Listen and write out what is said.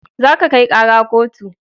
Za ka kai kara kotu